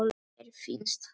Mér finnst það.